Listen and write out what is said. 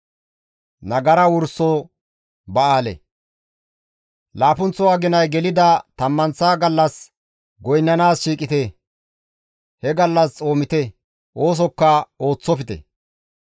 « ‹Laappunththo aginay gelida tammanththa gallas goynnanaas shiiqite; he gallas xoomite; oosokka ooththofte.